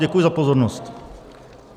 Děkuji za pozornost.